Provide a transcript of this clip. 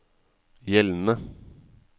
gjeldende